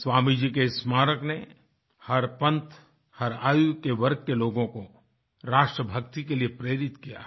स्वामीजी के स्मारक ने हर पन्थ हर आयु के वर्ग के लोगों को राष्ट्रभक्ति के लिए प्रेरित किया है